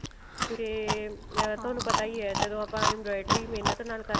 ਕਿਉਕਿ ਮੈਂ ਤੁਹਾਨੂੰ ਪਤਾ ਹੀ ਹੈ ਆਪਾਂ inventory ਮਹਿਨਤ ਨਾਲ ਕਰਨੀ ਹਿਆ ਤਾਂ